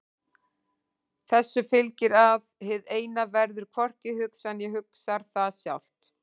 Þessu fylgir að hið Eina verður hvorki hugsað né hugsar það sjálft.